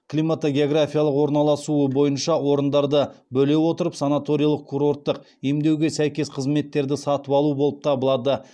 климатогеографиялық орналасуы бойынша орындарды бөле отырып санаториялық курорттық емдеуге сәйкес қызметтерді сатып алу болып табылады